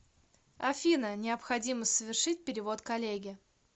афина необходимо совершить перевод коллеге